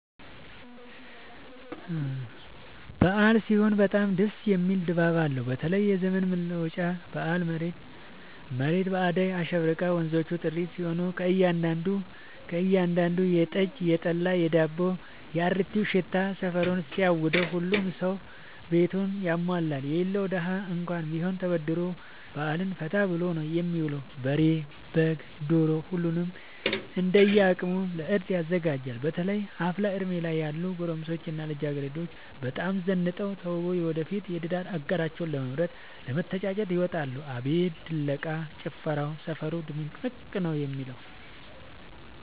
አበዓል ሲሆን በጣም ደስ የሚል ድባብ አለው በተለይም የዘመን መለወጫ በአል መሬት በአዳይ አሸብርቃ ወንዞቹ ጥርት ሲሉ ከእያዳዱ ቤት የጠጅ፣ የጠላ የዳቦው።፣ የአሪቲው ሽታ ሰፈሩን ሲያውደው። ሁሉም ሰው ቤቱን ያሟላል የሌለው ደሀ እንኳን ቢሆን ተበድሮ በአልን ፈታ ብሎ ነው የሚውለው። በሬ፣ በግ፣ ዶሮ ሁሉም እንደየ አቅሙ ለእርድ ያዘጋጃል። በተለይ አፍላ እድሜ ላይ ያሉ ጎረምሶች እና ልጃገረዶች በጣም ዘንጠው ተውበው የወደፊት የትዳር አጋራቸውን ለመምረጥ ለመተጫጨት ይወጣሉ። አቤት ድለቃ፣ ጭፈራው ሰፈሩ ድምቅምቅ ነው የሚለው።